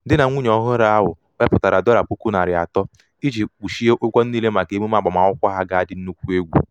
di na nwunye ọhụrụ ahu weputara dollar puku nari ato iji kpuchie ụgwọ niile maka emume agbamakwụkwọ ha ga adi nnukwu egwu